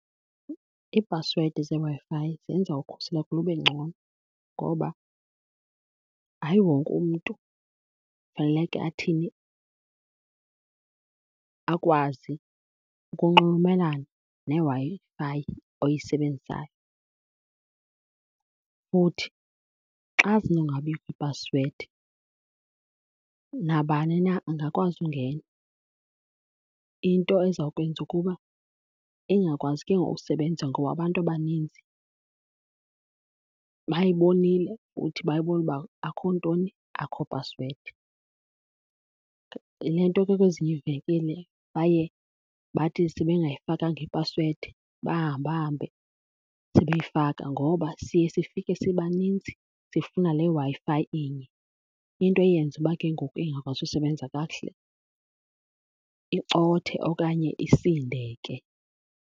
Iipasiwedi zeWi-Fi zenza ukhuseleko lube ngcono. Ngoba hayi wonke umntu faneleke athini? Akwazi ukunxulumelana neWi-Fi oyisebenzisayo. Futhi xa zinongabikho ipasiwedi nabani na angakwazi ungena, into eza kwenza ukuba ingakwazi ke ngoku usebenza ngoba abantu abaninzi bayibonile kuthi. Bayibona uba akho ntoni? Akho password. Yile nto ke kwezinye iivenkile baye bathi sebengayifakanga ipasiwedi bahambe bahambe sebeyifaka ngoba siye sifike sibaninzi sifuna le Wi-Fi inye, into eyenza uba ke ngoku ingakwazi usebenza kakuhle, icothe okanye isindeke.